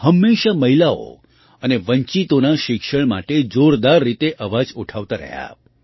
તેઓ હંમેશાં મહિલાઓ અને વંચિતોનાં શિક્ષણ માટે જોરદાર રીતે અવાજ ઉઠાવતાં રહ્યાં